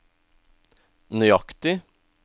nøyaktig